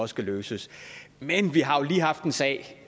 skal løses men vi har jo lige haft en sag